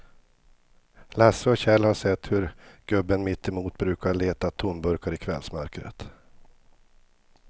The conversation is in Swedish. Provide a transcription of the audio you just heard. Lasse och Kjell har sett hur gubben mittemot brukar leta tomburkar i kvällsmörkret.